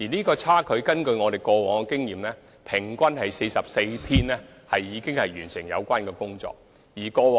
根據我們過往的經驗，平均只需44天便可完成修葺工程。